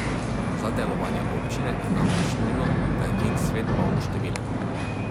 Za delovanje občine je namreč nujno, da je njen svet polnoštevilen.